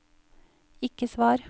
ikke svar